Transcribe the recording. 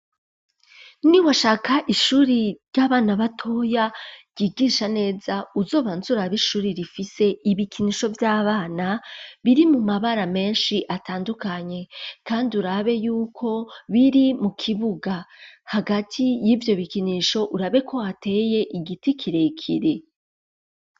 Niwashaka ishuri ry'abana batoya ryigisha neza uzobanzura ab ishuri rifise ibikinisho by'abana biri mu mabara menshi atandukanye kandi urabe y'uko biri mu kibuga hagati y'ivyo bikinisho urabe ko hateye igiti kirekire.